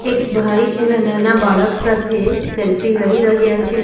એક ભાઈ એના નાના બાળક સાથે સેલ્ફી લઈ રહ્યા છે.